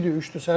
İkidir, üçdür.